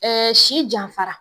Ɛɛ si janfara